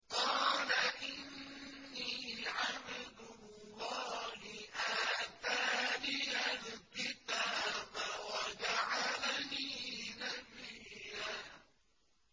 قَالَ إِنِّي عَبْدُ اللَّهِ آتَانِيَ الْكِتَابَ وَجَعَلَنِي نَبِيًّا